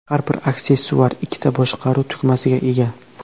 Har bir aksessuar ikkita boshqaruv tugmasiga ega.